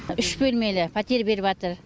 үш бөлмелі пәтер беріватыр